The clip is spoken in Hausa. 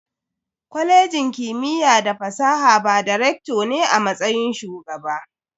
Kwalejin kimiyya da fasaha ba da "Recto" ne a matsayin Shugaba.